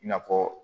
I n'a fɔ